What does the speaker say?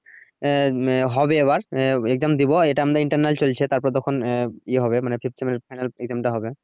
আহ হবে এবার আহ exam দিবো এটা আমদের internal চলছে তারপরে আহ ইয়ে হবে মানে final exam টা হবে।